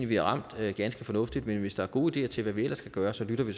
vi har ramt det ganske fornuftigt men hvis der er gode ideer til hvad vi ellers kan gøre så lytter vi